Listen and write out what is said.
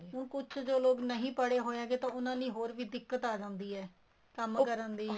ਹੁਣ ਕੁੱਛ ਜੋ ਲੋਕ ਨਹੀਂ ਪੜੇ ਹੋਏ ਹੈਗੇ ਤਾਂ ਉਹਨਾ ਲਈ ਹੋਰ ਵੀ ਦਿੱਕਤ ਆ ਜਾਂਦੀ ਹੈ ਕੰਮ ਕਰਨ ਦੀ